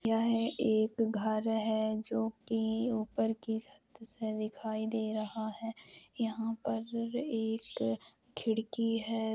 यह एक घर है जो कि ऊपर कि छत से दिखाई दे रहा है यहाँ पर एक खिड़की है।